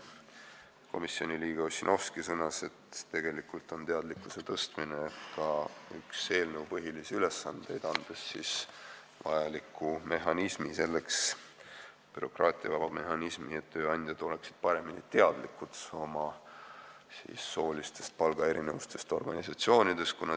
Komisjoni liige Ossinovski sõnas, et tegelikult on teadlikkuse tõstmine ka üks eelnõu põhilisi ülesandeid, andes vajaliku bürokraatiavaba mehhanismi, selleks et tööandjad oleksid rohkem teadlikud soolistest palgaerinevustest oma organisatsioonis.